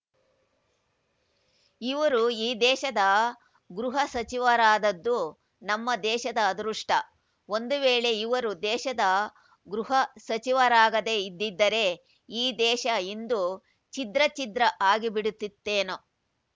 ಇವರು ಈ ದೇಶದ ಗೃಹಸಚಿವರಾದದ್ದು ನಮ್ಮ ದೇಶದ ಅದೃಷ್ಟ ಒಂದು ವೇಳೆ ಇವರು ದೇಶದ ಗೃಹ ಸಚಿವರಾಗದೇ ಇದ್ದಿದ್ದರೆ ಈ ದೇಶ ಇಂದು ಛಿದ್ರ ಛಿದ್ರ ಆಗಿಬಿಡುತ್ತಿತ್ತೇನೊ